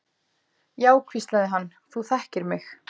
Já, hvíslaði hann, þú þekkir mig.